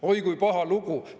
Oi, kui paha lugu!